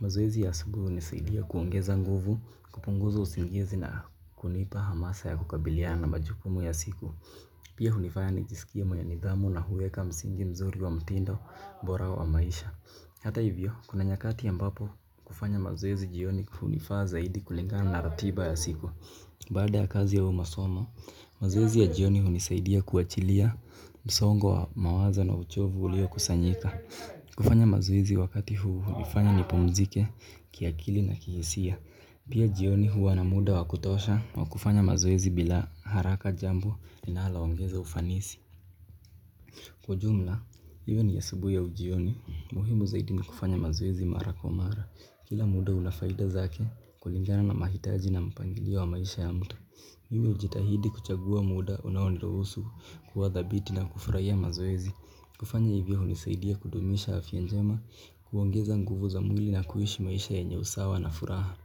Mazoezi ya siku unisaidia kuongeza nguvu, kupunguza usingizi na kunipa hamasa ya kukabiliana majukumu ya siku. Pia hunifanya nijisikie mwenye nidhamu na huweka msingi mzuri wa mtindo bora wa maisha. Hata hivyo, kuna nyakati ambapo kufanya mazoezi jioni hunifaa zaidi kulingana na ratiba ya siku. Baada ya kazi au masomo, mazoezi ya jioni hunisaidia kuachilia msongo wa mawazo na uchovu ulio kusanyika. Kufanya mazoezi wakati huu hunifanya nipumzike kiakili na kihisia. Pia jioni huwa na muda wakutosha wa kufanya mazoezi bila haraka jambo linalo ongeza ufanisi. Kwa ujumla, hiwe ni asubuhi au jioni, muhimu zaidi ni kufanya mazoezi mara kwa mara. Kila muda unafaida zake kulingana na mahitaji na mpangilio wa maisha ya mtu. Hivyo jitahidi kuchagua muda unao niruhusu kuwa dhabiti na kufurahia mazoezi. Kufanya hivyo unisaidia kudumisha afya njema, kuongeza nguvu za mwili na kuishi maisha yenye usawa na furaha.